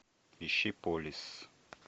ищи полис